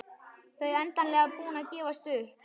Þau endanlega búin að gefast upp.